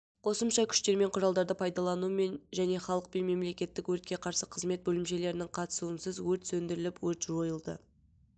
қосымша күштер мен құралдарды пайдаланумен және халықпен мемлекеттік өртке қарсы қызмет бөлімшелерінің қатысуынсыз өрт сөндіріліп өрт жойылды